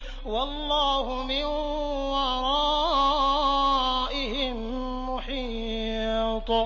وَاللَّهُ مِن وَرَائِهِم مُّحِيطٌ